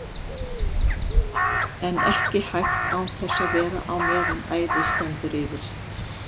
En ekki hægt án þess að vera á meðan æðið stendur yfir.